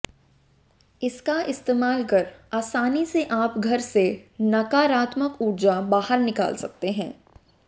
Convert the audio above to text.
इसका इस्तेमाल कर आसानी से आप घर से नकारात्मक ऊर्जा बाहर निकाल सकते है